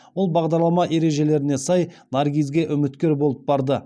ол бағдарлама ережелеріне сай наргизге үміткер болып барды